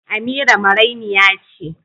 Amira marainiya ce